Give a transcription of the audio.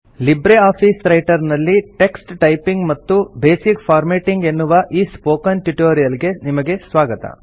Libre Office Writer ನಲ್ಲಿ text typing ಮತ್ತು basic formatting ಎನ್ನುವ ಈ ಸ್ಪೋಕನ್ ಟ್ಯುಟೋರಿಯಲ್ ಗೆ ನಿಮಗೆ ಸ್ವಾಗತ